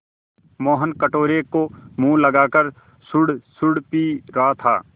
मोहन कटोरे को मुँह लगाकर सुड़सुड़ पी रहा था